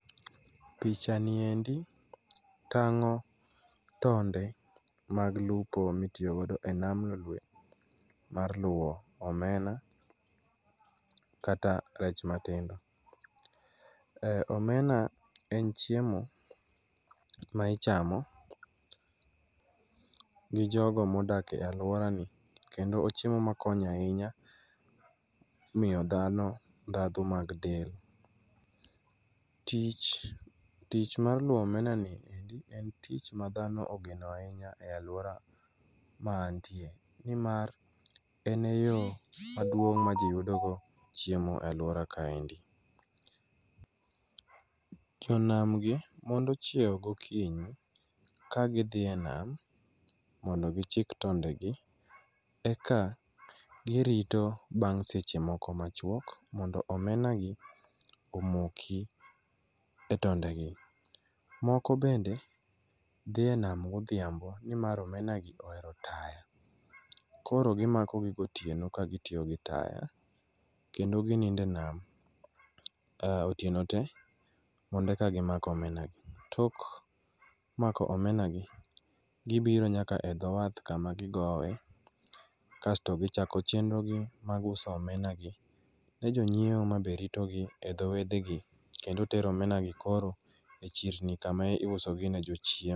Picha niendi tang'o tonde mag lupo mitiyo godo en nam lolwe mar luwo omena, kata rech matindo. Omena en chiemo ma ichamo gi jogo ma odak e alworanai. Kendo ochiemo ma konyo ahinya miyo dhano ndhadhu mag del. Tich tich mar luwo omena ni eri, en tich ma dhano ogeno ahinya e alwora ma antie. Ni mar en e yo maduong' ma ji yudogo chiemo e alwora kaendi. Jonam gi mondo chiewo gokinyi ka gidhi e nam mondo gichik tonde gi. Eka girito bang' seche moko machwok mondo omena gi omoki e tonde gi. Moko bende, dhie nam godhiambo, ni mar omena go ohero taya, koro gimako gi gotieno ka gitiyo gi taya, kendo ginindo e nam otieno te mondo eka gimak omena gi. Tok mako omena gi, gibiro nyaka e dho wath, kama gogoe, kasto gichako chenro gi mar uso omena gi, ne jo nyiewo mane ritogi e dho wedhe gi, kendo tero omena gi koro e chirni kama iuso gi ne jo.